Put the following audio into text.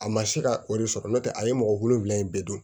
A ma se ka o de sɔrɔ n'o tɛ a ye mɔgɔ wolonvila in bɛɛ don